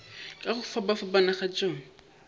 ka go fapafapana ga tšona